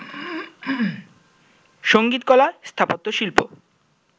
সঙ্গীতকলা স্থাপত্যশিল্প